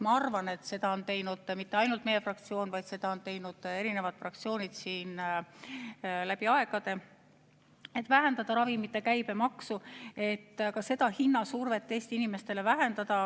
Ma arvan, et seda ei ole teinud mitte ainult meie fraktsioon, vaid seda on teinud erinevad fraktsioonid läbi aegade, et vähendada ravimite käibemaksu, et hinnasurvet Eesti inimestele vähendada.